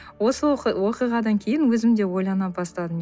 осы оқиғадан кейін өзім де ойлана бастадым